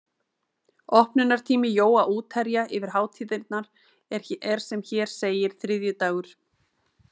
Opnunartími Jóa útherja yfir hátíðirnar er sem hér segir: þriðjudagur